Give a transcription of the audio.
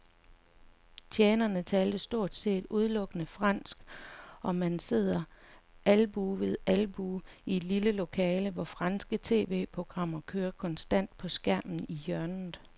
Tjenerne taler stort set udelukkende fransk, og man sidder albue ved albue i det lille lokale, hvor franske tv-programmer kører konstant på skærmen i hjørnet.